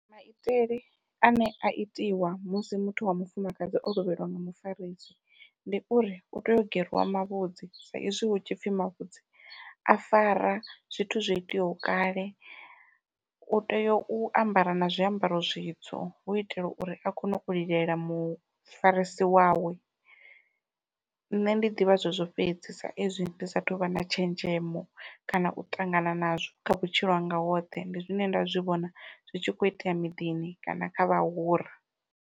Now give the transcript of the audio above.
Maitele ane a itiwa musi muthu wa mufumakadzi o lovheliwa nga mufarisi, ndi uri u tea u geriwa mavhudzi sa izwi hu tshipfhi mavhudzi a fara zwithu zwo iteaho kale, u tea u ambara na zwiambaro zwitsu hu itela uri a kone u lilela mufarisi wawe, nṋe ndi ḓivha zwezwo fhedzi sa izwi ndi sathu vha na tshenzhemo kana u ṱangana nazwo kha vhutshilo hanga hoṱhe ndi zwine nda zwi vhona zwi tshi kho itea miḓini kana kha vhahura.